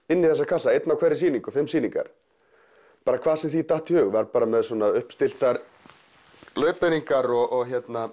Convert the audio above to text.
inn í þessa kassa einn á hverri sýningu fimm sýningar bara hvað sem því datt í hug var með uppstilltar leiðbeiningar og